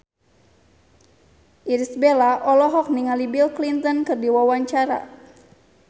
Irish Bella olohok ningali Bill Clinton keur diwawancara